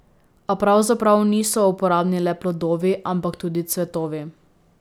A pravzaprav niso uporabni le plodovi ampak tudi cvetovi.